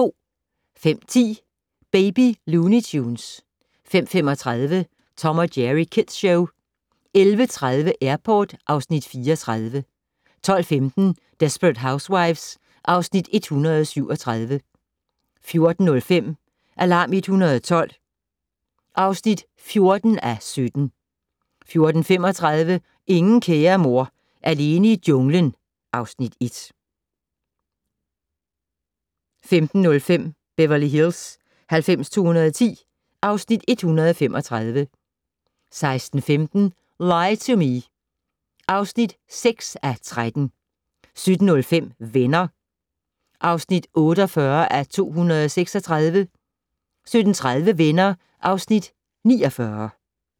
05:10: Baby Looney Tunes 05:35: Tom & Jerry Kids Show 11:30: Airport (Afs. 34) 12:15: Desperate Housewives (Afs. 137) 14:05: Alarm 112 (14:17) 14:35: Ingen kære mor - alene i junglen (Afs. 1) 15:05: Beverly Hills 90210 (Afs. 135) 16:15: Lie to Me (6:13) 17:05: Venner (48:236) 17:30: Venner (Afs. 49)